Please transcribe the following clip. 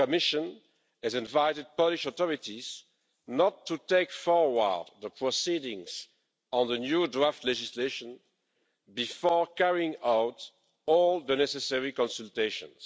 The Commission has invited Polish authorities not to take forward the proceedings on the new draft legislation before carrying out all the necessary consultations.